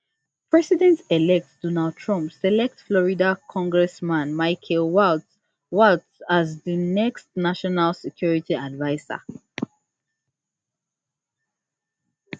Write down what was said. presidentelect donald trump select florida congressman michael waltz waltz as di next national security adviser